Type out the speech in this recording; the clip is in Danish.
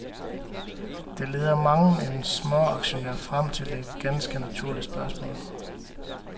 Det leder mangen en småaktionær frem til et ganske naturligt spørgsmål.